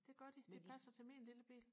det gør de de passer til min lille bil